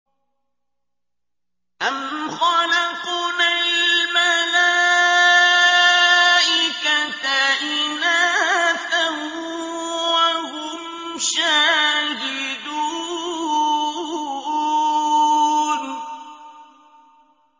أَمْ خَلَقْنَا الْمَلَائِكَةَ إِنَاثًا وَهُمْ شَاهِدُونَ